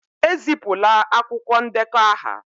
Ezipụla akwụkwọ ndekọ aha